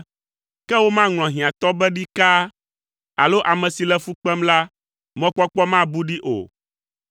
Ke womaŋlɔ hiãtɔ be ɖikaa alo ame si le fu kpem la, mɔkpɔkpɔ nabu ɖee o.